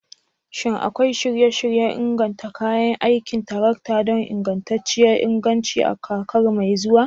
Shin akwai shirye-shiryen inganta kayan aikin tarakta don ingantacciyar inganci a kakar mai zuwa?